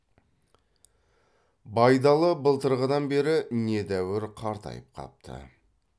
байдалы былтырғыдан бері недәуір қартайып қапты